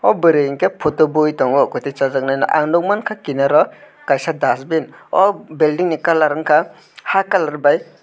aw bwrui unke photo bui tongo kuai tai chajaknai no ang nugmanka kinar o kaisa dustbin ao building ni kalar unka haa colour by.